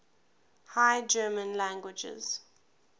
high german languages